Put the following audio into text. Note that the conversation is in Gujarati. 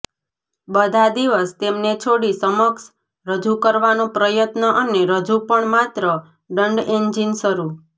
બધા દિવસ તેમને છોડી સમક્ષ રજુ કરવાનો પ્રયત્ન અને હજુ પણ માત્ર દંડ એન્જિન શરૂ